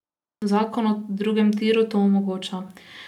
Zakon o drugem tiru to omogoča.